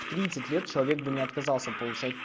тридцать лет человек бы не отказался получать